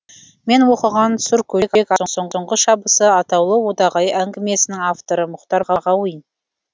мен оқыған сұркөжек аттың соңғы шабысы атаулы одағай әңгімесінің авторы мұхтар мағауин